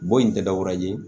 Bon in tɛ dɔwɛrɛ ye